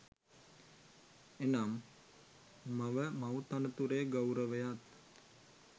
එනම්, මව මව් තනතුරේ ගෞරවයත්